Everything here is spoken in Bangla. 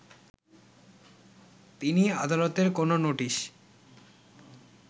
তিনি আদালতের কোন নোটিশ